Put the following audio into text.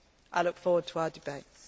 I look forward to our debates.